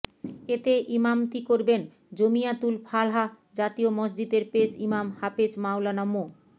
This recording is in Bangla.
এতে ইমামতি করবেন জমিয়াতুল ফালাহ্ জাতীয় মসজিদের পেশ ইমাম হাফেজ মাওলানা মো